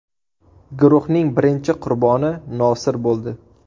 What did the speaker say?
Guruhning birinchi qurboni Nosir bo‘ldi.